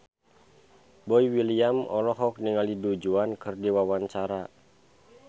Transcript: Boy William olohok ningali Du Juan keur diwawancara